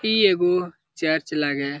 इ एगो चर्च लागे हेय।